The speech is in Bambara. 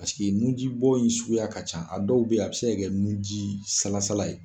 nunjibɔ in suguya ka ca a dɔw bɛ yen a bɛ se kɛ nunji salasala ye.